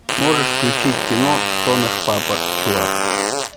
можешь включить кино кто наш папа чувак